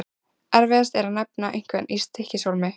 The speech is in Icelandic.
Erfiðast er að nefna einhverja í Stykkishólmi.